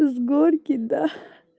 с горки да